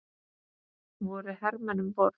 Voru hermenn um borð?